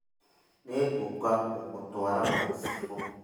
Nĩngũka gũgũtwara gwa chibũ